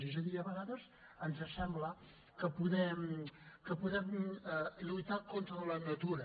és a dir a vegades ens sembla que podem lluitar contra la natura